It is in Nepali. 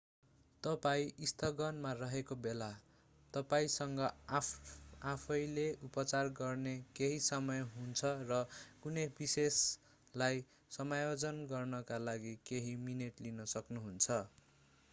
तपाईं स्थगनमा रहेको बेला तपाईंसँग आफैले उपचार गर्ने केही समय हुन्छ र कुनै विशेषलाई समायोजन गर्नका लागि केही मिनेट लिन सक्नुहुन्छ